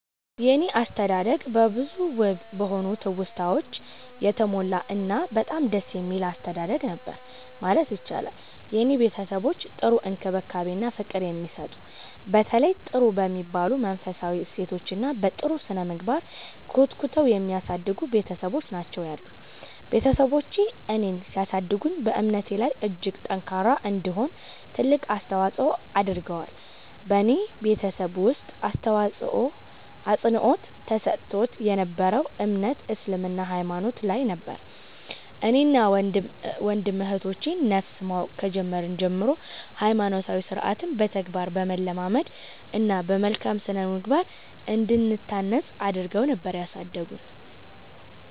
የኔ አስተዳደግ በብዙ ውብ በሆኑ ትውስታወች የተሞላ እና በጣም ደስ የሚል አስተዳደግ ነበር ማለት ይቻላል። የኔ ቤተሰቦች ጥሩ እንክብካቤ እና ፍቅር የሚሰጡ፤ በተለያዩ ጥሩ በሚባሉ መንፈሳዊ እሴቶች እና በ ጥሩ ስነምግባር ኮትኩተው የሚያሳድጉ ቤትሰቦች ናቸው ያሉኝ። ቤትሰቦቼ እኔን ሲያሳድጉ በእምነቴ ላይ እጅግ ጠንካራ እንድሆን ትልቅ አስተዋፆ አድርገዋል። በኔ ቤተሰብ ውስጥ አፅንዖት ተሰጥቶት የ ነበረው እምነት እስልምና ሃይማኖት ላይ ነበር። እኔን እና ወንድም እህቶቼ ን ነፍስ ማወቅ ከጀመርን ጀምሮ ሃይማኖታዊ ስርዓትን በተግባር በማለማመድ እና በመልካም ስነምግባር እንድንታነፅ አድረገው ነበር ያሳደጉን።